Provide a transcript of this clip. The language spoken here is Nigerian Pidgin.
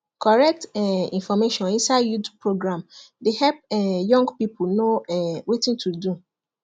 correct um information inside youth program dey help um young people know um wetin to do